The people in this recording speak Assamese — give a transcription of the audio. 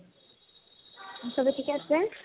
চবে থিকে আছে?